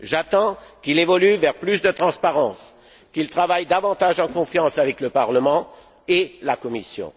J'attends qu'il évolue vers plus de transparence, qu'il travaille davantage en confiance avec le Parlement et la Commission.